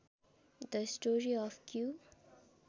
the story of Q